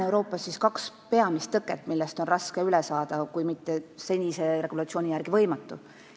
Euroopas on kaks peamist tõket, millest on üle saada raske, kui mitte senise regulatsiooni järgi võimatu.